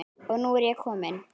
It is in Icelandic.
Og nú er ég komin!